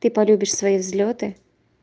ты полюбишь свои взлёты